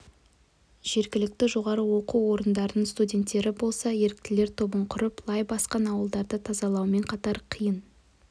жергілікті жоғары оқу орындарының студенттері болса еріктілер тобын құрып лай басқан аулаларды тазалаумен қатар қиын